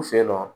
U fe yen nɔ